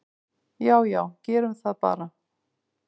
"""Já já, gerum það bara."""